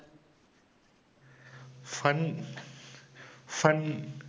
fun fun